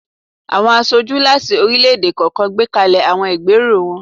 Awọn aṣoju lati orilẹ-ede kọọkan gbekalẹ awọn igbero wọn.